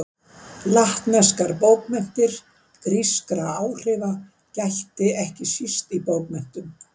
Latneskar bókmenntir Grískra áhrifa gætti ekki síst í bókmenntum.